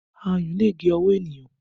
Ayùn lè gé ọwọ́ ènìyàn